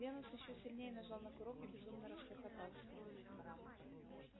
венус ещё сильнее нажал на курок и безумно расхохотался